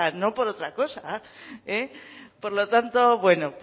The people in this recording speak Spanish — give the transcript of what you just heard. no por otra cosa por lo tanto